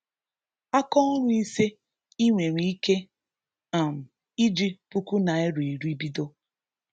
Akaọrụ ise ị nwere ike um iji puku naịra iri bido